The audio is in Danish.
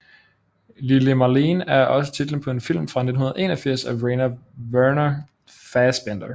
Lili Marleen er også titlen på en film fra 1981 af Rainer Werner Fassbinder